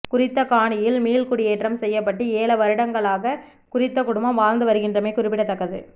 குறித்த காணியில் மீள்குடியேற்றம் செய்யப்பட்டு ஏழ வருடங்களாக குறித்த குடும்பம் வாழ்ந்து வருகின்றமை குறிப்பிடத்தக்கது